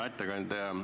Hea ettekandja!